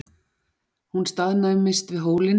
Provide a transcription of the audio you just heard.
Hún staðnæmist við hólinn.